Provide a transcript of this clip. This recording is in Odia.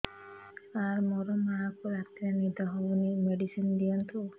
ସାର ମୋର ମାଆଙ୍କୁ ରାତିରେ ନିଦ ହଉନି ମେଡିସିନ ଦିଅନ୍ତୁ